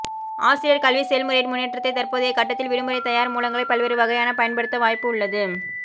ஆசிரியர் கல்வி செயல்முறையின் முன்னேற்றத்தைச் தற்போதைய கட்டத்தில் விடுமுறை தயார் மூலங்களை பல்வேறு வகையான பயன்படுத்த வாய்ப்பு உள்ளது